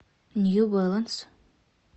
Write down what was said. нью бэланс